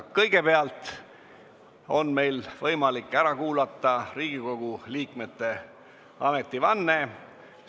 Kõigepealt on meil võimalik ära kuulata Riigikogu liikmete ametivanne.